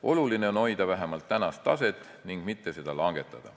Oluline on hoida vähemalt tänast taset ning mitte seda langetada.